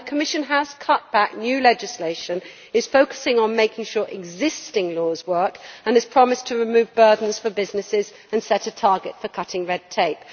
The Commission has cut back new legislation, is focusing on making sure existing laws work and has promised to remove burdens for businesses and set a target for cutting red tape.